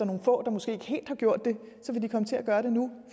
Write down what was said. nogle få der måske ikke helt har gjort det så vil de komme til at gøre det nu